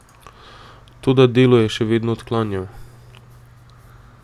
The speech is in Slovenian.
Toda delo je še vedno odklanjal.